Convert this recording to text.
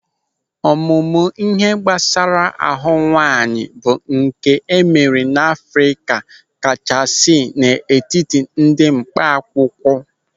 Ọmụmụ ịhe gbasara ahụ nwaanyị bụ nke emere n'Afrịka kachasị n'etiti ndị mkpa akwụkwọ.